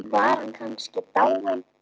Var hann kannski dáinn?